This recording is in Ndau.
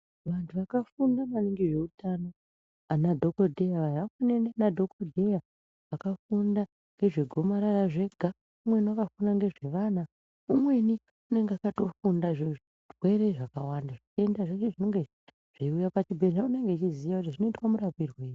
Vanthu vakafunda maningi ngezveutano anadhokodheya vaya ,vamweni ana dhokoteya vakafunda ngezve gomarara zvega , umweni wakafunda ngezvevana umweni unenge akatofunda zvezvirwere zvakawanda , zvitenda zveshe zvinenge zvechiuya pachibhehleya unenge echiziya kuti zvinoitwa murapirwei.